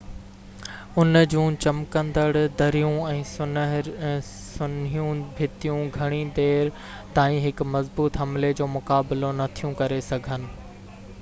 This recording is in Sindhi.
ان جون چمڪندڙ دريون ۽ سنهيون ڀتيون گهڻي دير تائين هڪ مضبوط حملي جو مقابلو نٿيون ڪري سگهن